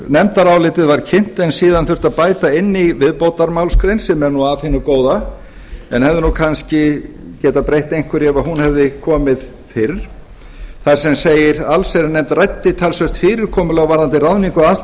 nefndarálitið var kynnt en síðan þurfti að bæta inn í viðbótarmálsgrein sem er nú af hinu góða en hefði kannski getað breytt einhverju ef hún hefði komið fyrr þar sem segir allsherjarnefnd ræddi talsvert fyrirkomulag varðandi